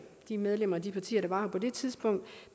de medlemmer af de partier der var på det tidspunkt